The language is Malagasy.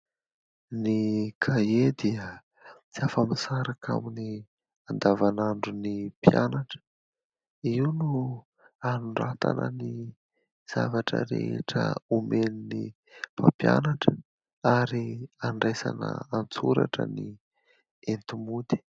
Ny kahie dia tsy afa-misaraka amin'ny andavanandron' ny mpianatra, io no anoratana ny zavatra rehetra omen'ny mpampianatra ary andraisana an-tsoratra ny enti-mody.